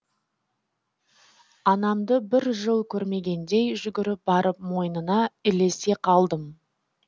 анамды бір жыл көрмегендей жүгіріп барып мойнына ілесе қалдым